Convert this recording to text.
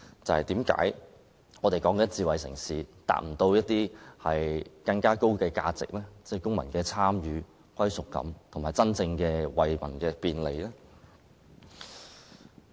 為何我們討論的智慧城市無法達到增值、提高公民參與度和歸屬感，以及真正利民的目標呢？